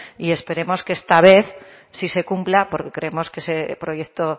y esperemos que esta vez sí se cumpla porque creemos que ese proyecto